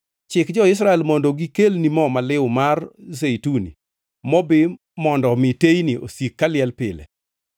“Chik jo-Israel mondo gikelni mo maliw mar zeituni mobi mondo omi teyni osik kaliel pile.